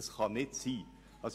Das kann nicht sein!